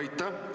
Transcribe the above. Aitäh!